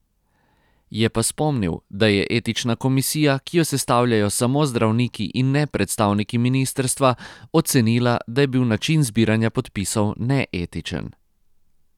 Je pa spomnil, da je etična komisija, ki jo sestavljajo samo zdravniki in ne predstavniki ministrstva, ocenila, da je bil način zbiranja podpisov neetičen.